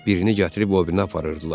Birini gətirib o birinə aparırdılar.